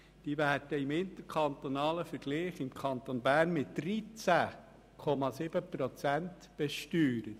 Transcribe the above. Diese werden im interkantonalen Vergleich im Kanton Bern mit 13,7 Prozent besteuert.